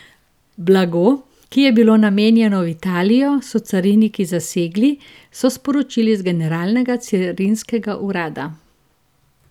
Blago, ki je bilo namenjeno v Italijo, so cariniki zasegli, so sporočili z Generalnega carinskega urada.